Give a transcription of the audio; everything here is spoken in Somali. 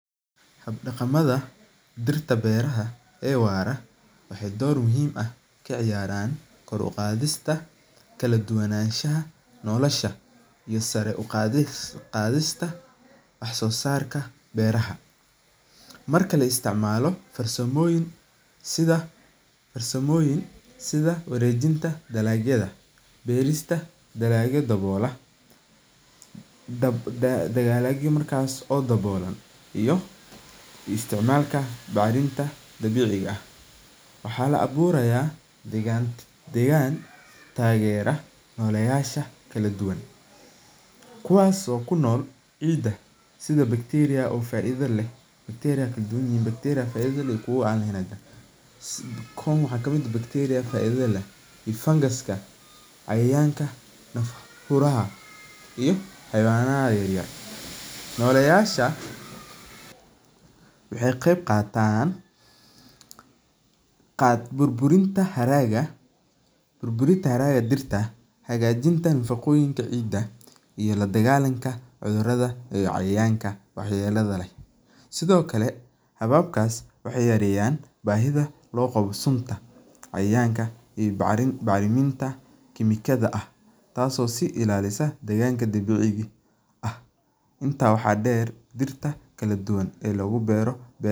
Habdaqamadha dirta beeraha ee wara waxee dor muhiim ah ka ciyaran kor u qadhista kala duwanashaha nolosha iyo sara u qadhista wax sosarka beeraha, marka laisticmalo sawaboyin sitha warejinta dalagyaada beerista dalagya dawola dalagya markas dawola isticmalika baxrinta dabiciga ah, waxaa la aburaya degan tagerayasha bulshaada kuwas oo kunol ciida sitha bacteria oo faidha leh bacteria kow waxaa ka miid ah fungicide ka cayayanka iyo xayawanaha yar yar, waxee qeyb qatan burburiyasha dalaga dirta hagajinta nafaqoyinka ciida iyo ladagalanka cudhurada iyo cayayanka wax yelada leh, sithokale hababkas waxee yareyan sunta cayayanka iyo baxriminta tas oo si ilalisa, intas waxaa der dirta kala duwan oo lagu beero beerta.